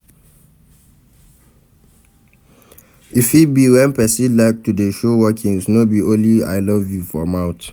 E fit be when persin like to de show workings no be only I love you for mouth